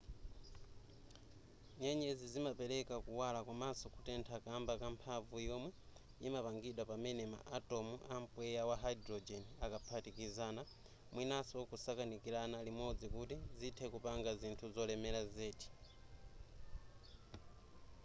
nyenyezi zimapereka kuwala komanso kutentha kamba ka mphamvu yomwe yimapangidwa pamene ma atom a mpweya wa hydrogen akaphatikizana mwinaso kusakanikirana limodzi kuti zithe kupanga zinthu zolemera zedi